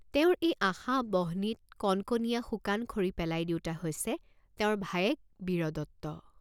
তেওঁৰ এই আশা বহ্নিত কনকনীয়া শুকান খৰি পেলাই দিওঁতা হৈছে তেওঁৰ ভায়েক বীৰদত্ত।